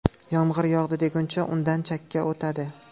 Yomg‘ir yog‘di deguncha undan chakka o‘tadi.